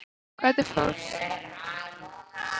Hvernig fórum við að því að vinna?